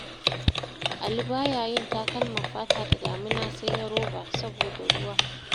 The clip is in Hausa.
Ali ba ya yin takalman fata da damina sai na roba, saboda ruwa.